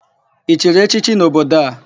I chiri echichi n'obodo a?